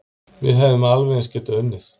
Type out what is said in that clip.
Við hefðum alveg eins getað unnið